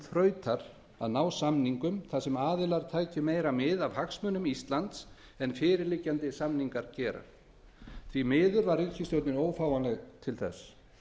þrautar að ná samningum þar sem aðilar tækju meira mið af hagsmunum íslands en fyrirliggjandi samningar gera því miður var ríkisstjórnin ófáanleg til þess